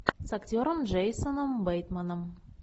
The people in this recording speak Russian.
с актером джейсоном бейтманом